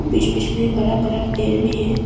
बीच बीच में बरा बरा पेड़ भी है।